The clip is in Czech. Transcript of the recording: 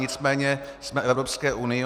Nicméně jsme v Evropské unii.